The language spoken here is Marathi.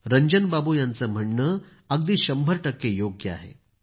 रंजनबाबू यांचं म्हणणं अगदी शंभर टक्के योग्य आहे